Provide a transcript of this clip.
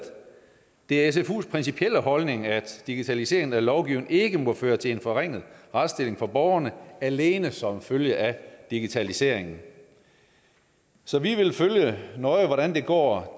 det er cfus principielle holdning at digitaliseringen af lovgivningen ikke må føre til en forringet retsstilling for borgerne alene som følge af digitaliseringen så vi vil nøje følge hvordan det går